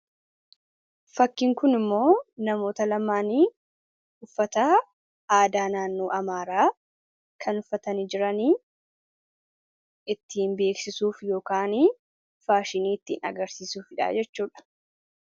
Fakkiin kun immoo namoota lamaanii uffata aadaa naannoo Amaaraa kan uffatanii jiranii fi ittiin beeksisuuf Yookaan faashinii ittiin agarsiisuufi dha jechuudha.